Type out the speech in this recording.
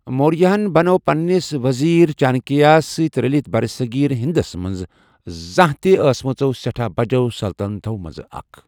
موریاہَن بنٲو پنٛنِس ؤزیٖر چانكیاہس سٕتہِ رلِتھ برصٔغیٖر ہِنٛدس منٛز زانہہ تہِ آسمژو سیٹھاہ بجو٘ سلتنطو منزٕ اكھ ۔